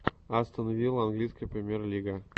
астон вилла английская премьер лига